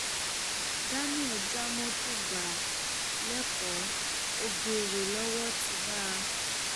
daniel já mọtò gbà lẹkọọ ọgẹrẹ lowó ti bá a